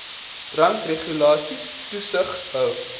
drankregulasies toesig hou